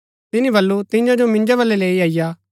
तिनी बल्लू तियां जो मिन्जो बलै लैई अईआ